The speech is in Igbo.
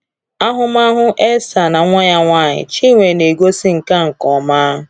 Ahụmahụ Elsa na nwa ya nwanyị, Chinwe, na-egosi nke a nke ọma.